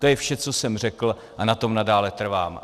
To je vše, co jsem řekl, a na tom nadále trvám.